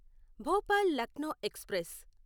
Bhopal Lucknow express